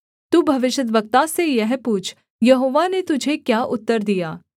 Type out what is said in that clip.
तू भविष्यद्वक्ता से यह पूछ यहोवा ने तुझे क्या उत्तर दिया